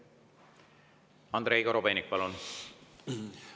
Andrei Korobeinik, palun!